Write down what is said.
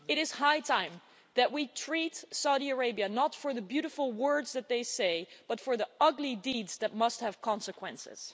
It is high time that we responded, in our treatment of Saudi Arabia, not to the beautiful words that they say, but to the ugly deeds that must have consequences.